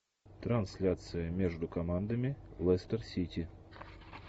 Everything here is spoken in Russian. трансляция между командами лестер сити